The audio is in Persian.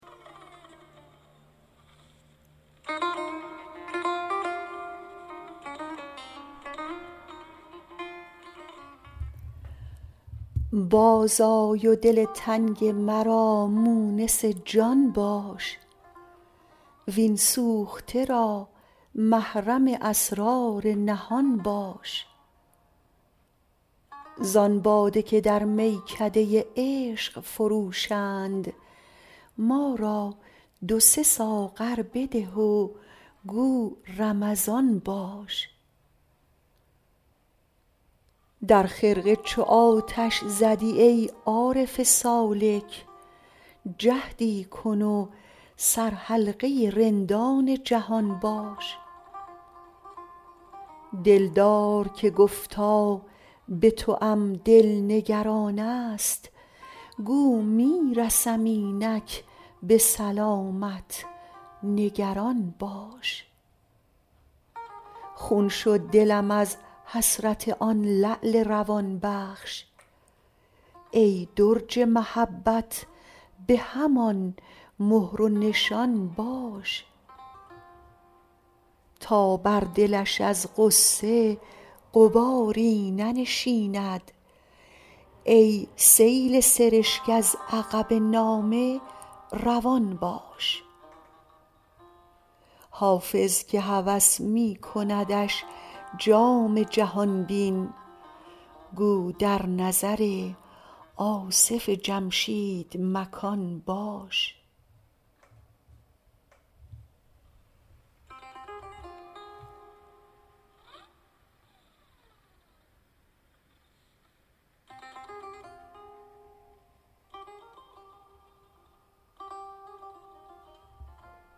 باز آی و دل تنگ مرا مونس جان باش وین سوخته را محرم اسرار نهان باش زان باده که در میکده عشق فروشند ما را دو سه ساغر بده و گو رمضان باش در خرقه چو آتش زدی ای عارف سالک جهدی کن و سرحلقه رندان جهان باش دلدار که گفتا به توام دل نگران است گو می رسم اینک به سلامت نگران باش خون شد دلم از حسرت آن لعل روان بخش ای درج محبت به همان مهر و نشان باش تا بر دلش از غصه غباری ننشیند ای سیل سرشک از عقب نامه روان باش حافظ که هوس می کندش جام جهان بین گو در نظر آصف جمشید مکان باش